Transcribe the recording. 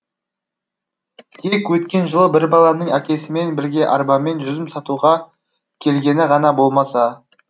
тек өткен жылы бір баланың әкесімен бірге арбамен жүзім сатуға келгені ғана болмаса